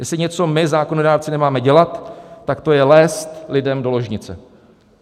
Jestli něco my zákonodárci nemáme dělat, tak to je lézt lidem do ložnice.